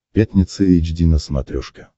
пятница эйч ди на смотрешке